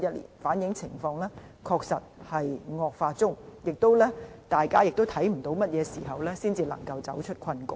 數據反映情況確實在惡化中，而大家也看不到甚麼時候才可走出困局。